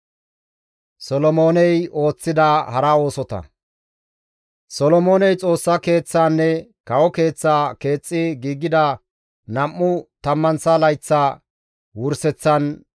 Solomooney Xoossa Keeththaanne kawo keeththaa keexxi giigida nam7u tammanththa layththa wurseththan,